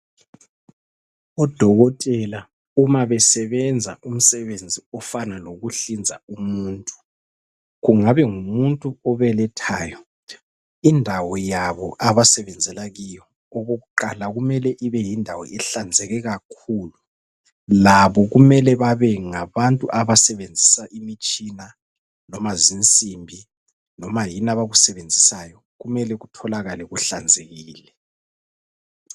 Odokotela uma besebenza umsebenzi ofana lokuhlinza umuntu, kungabe ngumuntu obelethayo indawo yabo abasebenzela kiyo okokuqala kumele ibe yindawo ihlanzeke kakhulu labo kumele babe ngabantu abasebenzisa imitshina loma zinsimbi loma yini abakusebenzisayo kumele kutholakale kuhlanzekile.